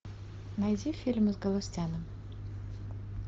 найди фильмы с галустяном